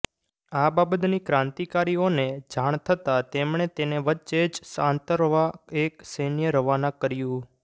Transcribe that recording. આ બાબતની ક્રાંતિકારીઓને જાણ થતાં તેમણે તેને વચ્ચે જ આંતરવા એક સૈન્ય રવાના કર્યું